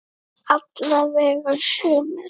Alla vega sumir.